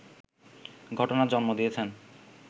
ঘটনার জন্ম দিয়েছেন